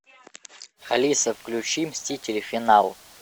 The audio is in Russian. алиса включи мстители финал